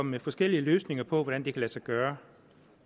med forskellige løsninger på hvordan det kan lade sig gøre